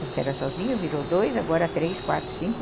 Você era sozinho, virou dois, agora três, quatro, cinco.